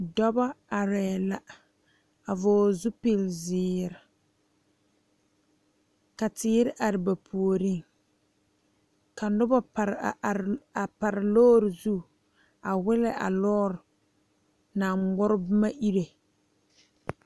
Dɔɔba are la a vɔgle zupele ziiri ka teere are ba puori ka noba pare a are a pare lɔre zu a wile la lɔre naŋ ŋarɔ ba iri.